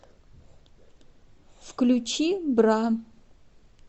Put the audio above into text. включи бра